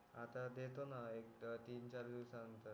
आता देतो ना एक तीन चार दिवस नतंर